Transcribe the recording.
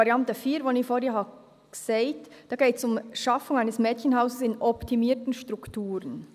Bei der Variante 4, die ich vorhin erwähnt habe, geht es um die «Schaffung eines Mädchenhauses in optimierten Strukturen».